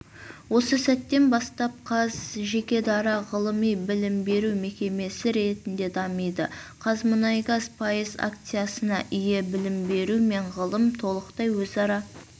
осы сәттен бастап мен қаз жеке-дара ғылыми-білім беру мекемесі ретінде дамиды қазмұнайгаз пайыз акциясыне ие білім беру мен ғылым толықтай өзара